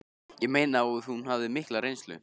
Ég meina að hún hafði mikla reynslu